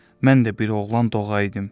Mən də bir oğlan doğaydıım.